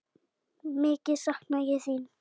Mikið sakna ég þín.